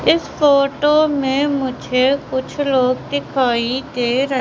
इस फोटो में मुझे कुछ लोग दिखाई दे र--